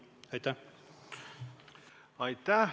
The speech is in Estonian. Aitäh!